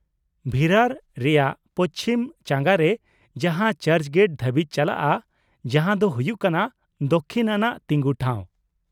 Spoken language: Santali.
ᱵᱷᱤᱨᱟᱨ ᱨᱮᱭᱟᱜ ᱯᱚᱪᱷᱤᱢ ᱪᱟᱸᱜᱟ ᱨᱮ ᱡᱟᱦᱟᱸ ᱪᱟᱨᱪ ᱜᱮᱴ ᱫᱷᱟᱹᱵᱤᱡ ᱪᱟᱞᱟᱜᱼᱟ, ᱡᱟᱦᱟᱸ ᱫᱚ ᱦᱩᱭᱩᱜ ᱠᱟᱱᱟ ᱫᱚᱠᱽᱠᱷᱤᱱ ᱟᱱᱟᱜ ᱛᱤᱜᱩ ᱴᱷᱟᱣ ᱾